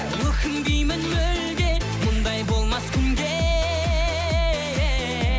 өкінбеймін мүлде мұндай болмас күнде